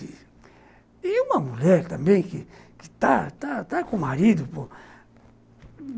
E uma mulher também que que está está com marido pô